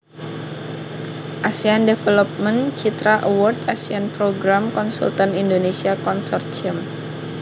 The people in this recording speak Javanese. Asean Development Citra Award Asean Programme Consultant Indonesia Consortium